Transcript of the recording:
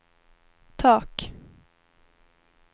tak